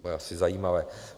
To je asi zajímavé.